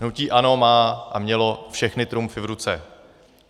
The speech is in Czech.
Hnutí ANO má a mělo všechny trumfy v ruce.